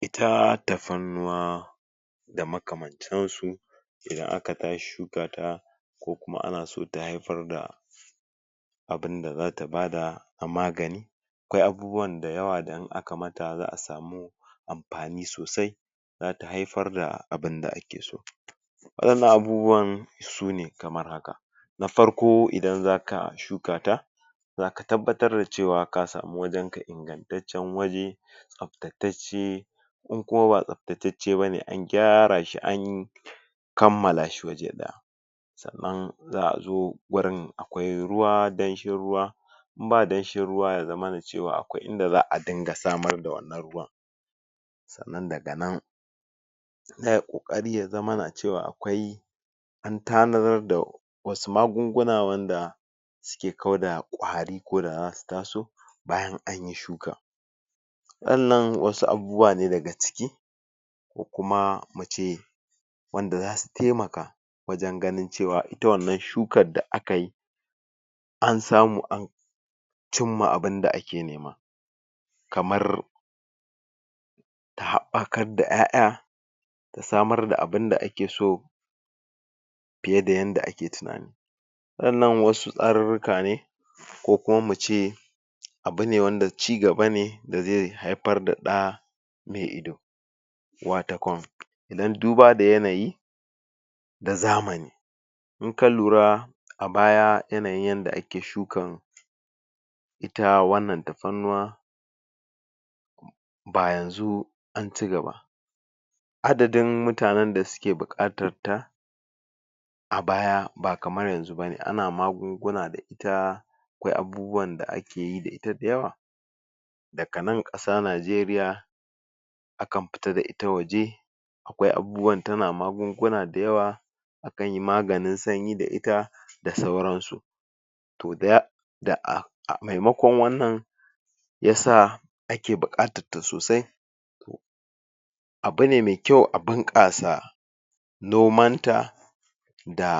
Ita tafarnuwa da makamantansu, idan aka tashi shuka ta ko kuma ana so ta haifar da abinda za ta bada na magani, akwai abubuwanda dayawa idan aka ma ta za'a samu amfani sosai, zata haifar da abinda ake so waɗannan abubuwan sune kamar haka: Na farko idan zaka shuka ta zaka tabbatar da ce wa ka samu wajenka ingantaccen waje tsaftatacce, in kuma ba tsaftatacce bane an gyara shi anyi kammala shi waje ɗaya sannan za'a zo wurin akwai ruwa danshin ruwa in ba danshin ruwa yazamana ce wa akwai inda za'a dinga samar da wannan ruwan, sannan daga nan sai ai ƙoƙari yazamana ce wa akwai an tanadar da wasu magunguna wanda suke kauda ƙwari koda zasu taso bayan anyi shuka, waɗannan wasu abubuwa ne daga ciki ko kuma mu ce wanda za su taimaka wajen ganin cewa ita wannan shukar da aka yi an samu an cimma abinda ake nema, kamar ta haɓɓakadda 'ya'ya ta samar da abinda ake so fiye da yanda ake tunani, waɗannan wasu tsarirrika ne ko kuma mu ce abu ne wanda cigaba ne da zai haifar da ɗa mai ido, watakon idan duba da yanayi da zamani, in ka lura a baya yanayin yanda ake shukan ita wannan tafarnuwa ba yanzu an cigaba, adadin mutanen da suke buƙatar ta a baya ba kamar yanzu ba ne, ana magunguna da ita akwai abubuwanda ake yi da ita da yawa, daga nan ƙasa Nigeria akan fita da ita waje, akwai abubuwan...ta na magunguna da yawa akan yi maganin sanyi da ita da sauransu, to da ya... da a... a maimakon wannan ya sa ake buƙatarta sosai, abu ne mai kyau a bunƙasa nomanta da